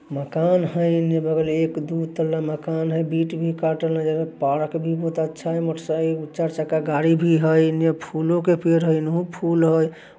मकान हय एन्ने बगल एक दु तल्ला मकान हय बीट भी काटल नजर पारक भी बहुत अच्छा हय मोटरसाइ चार-चक्का गाड़ी भी हय एने फूलो के पेड़ हय एनहु फूल हय।